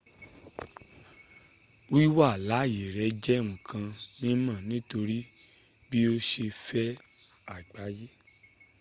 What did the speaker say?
wiwa laye re je nkan mimo nitori bi o se fẹ agbaye